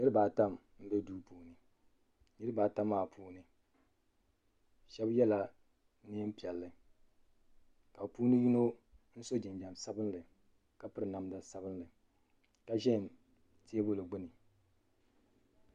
Niriba ata mbɛ duu puuni niriba ata maa puuni shɛba ye la nɛɛn piɛlli ka bi puuni yino so jinjam sabinli ka piri namda sabinli ka zɛ tɛɛbuli gbuni.